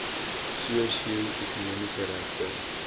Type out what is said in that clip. sosio ekonomiese regte